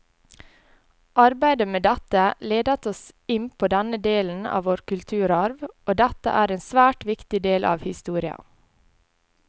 Arbeidet med dette ledet oss inn på denne delen av vår kulturarv, og dette er en svært viktig del av historia.